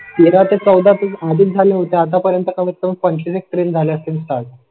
तेरा ते चौदा आदिल झाले होते. आतापर्यंत कमीत कमी पंचवीस ट्रेन झालं असेल.